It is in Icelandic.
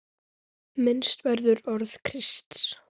Minnst verður orða Krists.